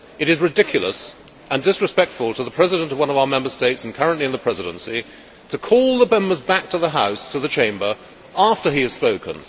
It is ridiculous, and disrespectful to the President of one of our Member States and currently in the Presidency, to call the Members back to the House, back to the Chamber, after he has spoken.